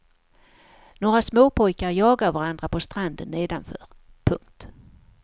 Några småpojkar jagar varandra på stranden nedanför. punkt